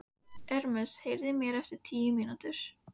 Hvenær varðstu fyrst vör við þessa festi hjá honum?